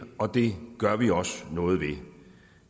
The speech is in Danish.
og det gør vi også noget ved